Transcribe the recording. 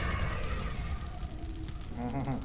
আহ হা হা